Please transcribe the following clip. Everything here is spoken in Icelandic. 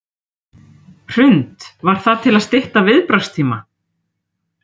Hrund: Var það til að stytta viðbragðstíma?